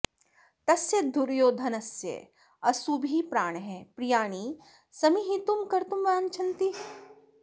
तस्य दुर्योधनस्य असुभिः प्राणः प्रियाणि समीहितुं कर्तुं वाञ्छन्ति